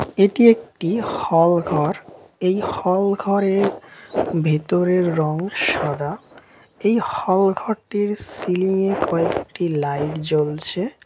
এটি একটি হলঘরএই হল ঘরের ভেতরের রং সাদা এই হল ঘরটির সিলিং এ কয়েকটি লাইট জ্বলছে।